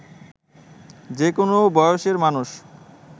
যে কোনো বয়সের মানুষ